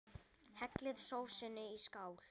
Hellið sósunni í skál.